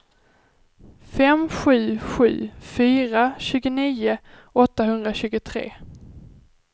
fem sju sju fyra tjugonio åttahundratjugotre